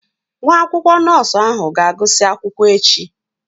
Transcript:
Nwa akwụkwọ nọọsụ ahụ ga-agụsị akwụkwọ echi